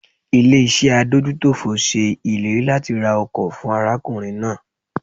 Ilé iṣẹ́ adójútòfò ṣe ìlérí làti ra ọkọ̀ fún arákùnrin náà